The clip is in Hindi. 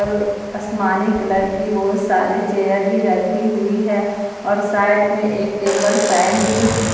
आसमानी कलर की बहुत सारे चेयर भी रखी हुई है और साइड में एक टेबल फैन भी--